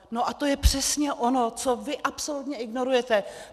No a to je přesně ono, co vy absolutně ignorujete.